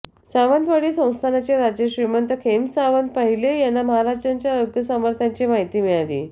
सावंतवाडी संस्थानचे राजे श्रीमंत खेमसावंत पहिले यांना महाराजांच्या योगसामर्थ्यांची माहिती मिळाली